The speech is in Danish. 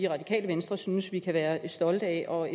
radikale venstre synes vi kan været stolte af og